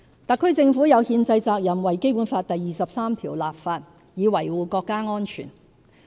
特區政府有憲制責任為《基本法》第二十三條立法以維護國家安全。